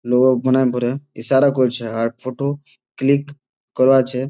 লোক মানে পরে ইশারা করছে আর ফটো ক্লিক করা আছে।